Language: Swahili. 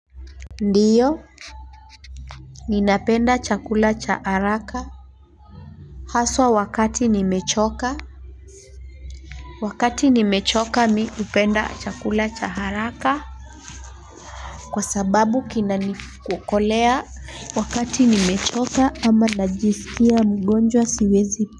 Ndiyo, ninapenda chakula cha haraka hasa wakati nimechoka. Wakati nimechoka mimi hupenda chakula cha haraka kwa sababu kinanikolea. Wakati nimechoka ama najisikia mgonjwa siwezi.